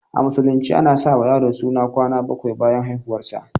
A musulunce a na sa wa yaro suna kwana baƙwai bayan haihuwar sa